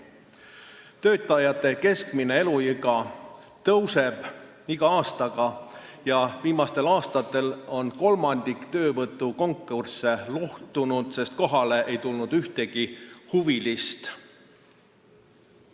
Päästetöötajate keskmine vanus tõuseb iga aastaga ja viimastel aastatel on kolmandik töövõtukonkursse luhtunud, sest kohale pole tulnud ühtegi huvilist.